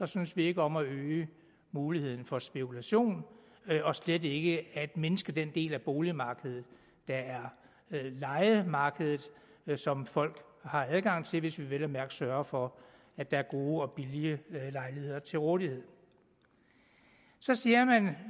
synes vi ikke om at øge muligheden for spekulation og slet ikke at mindske den del af boligmarkedet der er lejemarkedet som folk har adgang til hvis vi vel at mærke sørger for at der er gode og billige lejligheder til rådighed så siger man